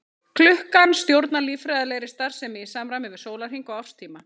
Klukkan stjórnar líffræðilegri starfsemi í samræmi við sólarhring og árstíma.